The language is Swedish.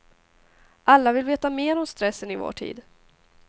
Alla vill veta mer om stressen i vår tid.